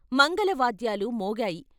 మంగళ వాద్యాలు మోగాయి.